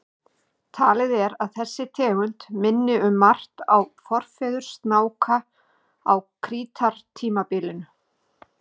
Talið er að þessi tegund minni um margt á forfeður snáka á krítartímabilinu.